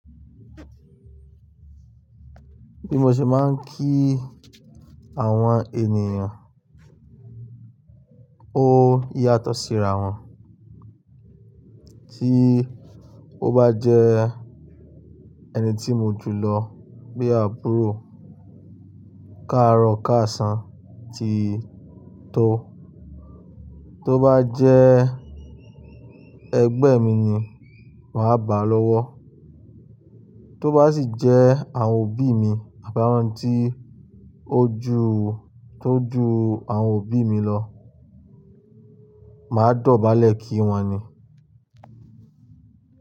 Bí mo ṣe máa ń kí àwọn ènìyàn ó yàtọ̀ síra wọn. Tí ó bá jẹ́ ẹni tí mo jùlọ bí àbúrò, káàárọ̀ káàṣán ti tó. Tó bá jẹ́ ẹgbẹ́ mi ni màá báa lọ́wọ́. Tó bá sì jẹ́ àwọn òbí mi àbí àwọn tí ó ju, tó ju àwọn òbí mi lọ, màá dọ̀bálẹ̀ kí wọn ni.